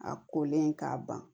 A kolen k'a ban